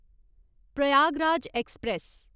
Prayagraj express